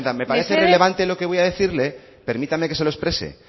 me parece relevante lo que voy a decirle permítame que se lo exprese